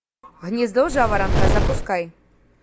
гнездо жаворонка запускай